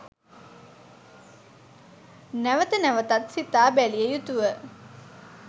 නැවත නැවතත් සිතා බැලිය යුතුව